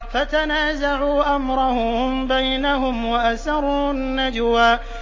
فَتَنَازَعُوا أَمْرَهُم بَيْنَهُمْ وَأَسَرُّوا النَّجْوَىٰ